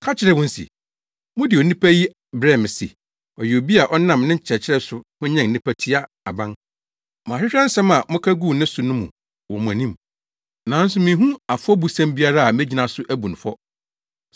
ka kyerɛɛ wɔn se, “Mode onipa yi brɛɛ me se, ɔyɛ obi a ɔnam ne nkyerɛkyerɛ so hwanyan nnipa tia aban. Mahwehwɛ nsɛm a moka guu ne so no mu wɔ mo anim, nanso minhu afɔbusɛm biara a megyina so abu no fɔ.